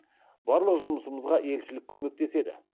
барлық жұмысымызға елшілік көмектеседі